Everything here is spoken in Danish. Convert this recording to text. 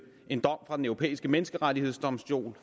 en dom fra den europæiske menneskerettighedsdomstol